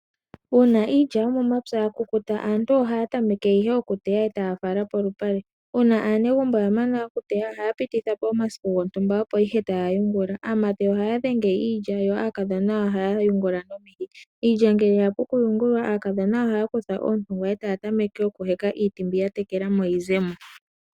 Uuna iilya yo momapya ya kukuta, aantu ohaa tameke ihe oku teya, e taa fala polupale. Uuna aanegumbo ya mana oku teya, ohaa pititha po omasiku gontumba , opo ihe taa yungula. Aamati ohaa dhenga iilya, yo aakadhona ohaa yungula nomihi. Iilya ngele ya pu oku yungulwa, aakadhona ohaa kutha ootungwa e taa tameke oku heka, iiti mbi ya tekela mo yi ze mo.